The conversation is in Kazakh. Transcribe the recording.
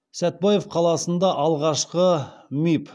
сәтбаев қаласында алғашқы миб